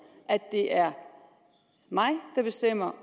at det er mig der bestemmer